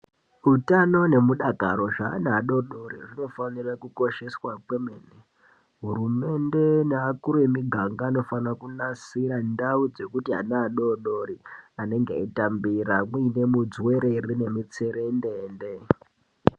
Hutano nemudakaro zveana adodori zvinofanire kukosheswa kwemene hurumende neakuru emiganga anofanira kunasira ndau dzekuti ana adodori anenge eitambira kuine mudzuwerere nemutserendende.